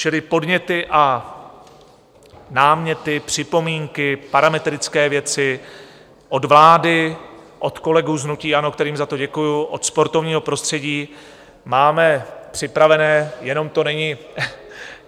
Čili podněty a náměty, připomínky, parametrické věci od vlády, od kolegů z hnutí ANO, kterým za to děkuji, od sportovního prostředí máme připravené, jenom to není...